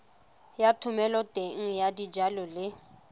ya thomeloteng ya dijalo le